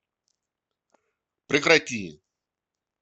прекрати